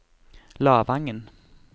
Lavangen